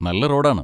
നല്ല റോഡാണ്.